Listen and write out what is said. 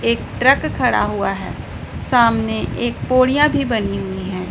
एक ट्रक खड़ा हुआ है सामने एक पौड़ियां भी बनी हुई हैं।